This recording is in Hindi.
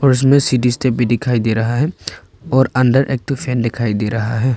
और इसमें सीढी स्टेप भी दिखाई दे रहा है और अंदर एक फैन दिखाई दे रहा है।